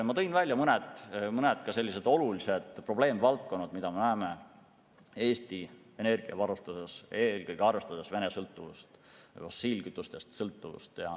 Ma tõin välja ka mõned olulised probleemvaldkonnad, mida me näeme Eesti energiavarustuses, eelkõige arvestades Venemaa sõltuvust fossiilkütustest.